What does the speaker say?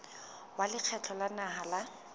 wa lekgotla la naha la